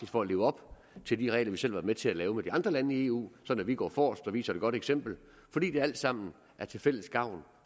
for at leve op til de regler vi selv har været med til at lave med de andre lande i eu sådan at vi går forrest og viser et godt eksempel fordi det alt sammen er til fælles gavn